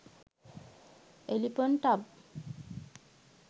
elephant tub